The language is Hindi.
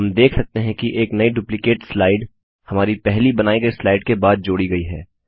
हम देख सकते हैं कि एक नई डुप्लिकेट स्लाइड हमारी पहली बनाई गई स्लाइड के बाद जोड़ी गई है